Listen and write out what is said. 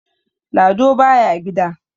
Lado baya gida.